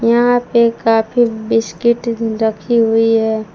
यहां पे काफी बिस्किट रखी हुई है।